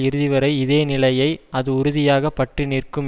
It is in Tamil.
இறுதிவரை இதேநிலையை அது உறுதியாக பற்றி நிற்கும்